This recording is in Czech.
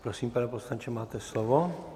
Prosím, pane poslanče, máte slovo.